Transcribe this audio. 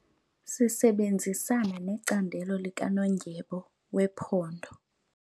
Sisebenzisana necandelo likanondyebo wephondo.